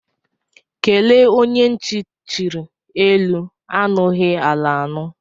Kelee onye ntị chiri, elu anughi ala anu